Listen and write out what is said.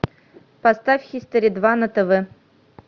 поставь хистори два на тв